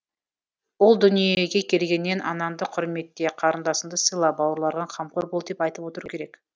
ұл дүниеге келгеннен анаңды құрметте қарындасыңды сыйла бауырларыңа қамқор бол деп айтып отыру керек